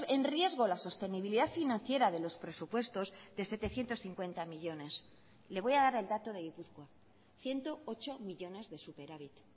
en riesgo la sostenibilidad financiera de los presupuestos de setecientos cincuenta millónes le voy a dar el dato de gipuzkoa ciento ocho millónes de superávit